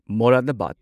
Moradabad